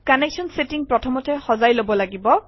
connection setting প্ৰথমতে সজাই লব লাগিব